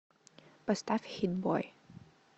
поставь хит бой